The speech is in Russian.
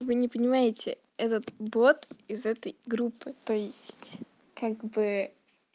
вы не понимаете этот бот из этой группы то есть как бы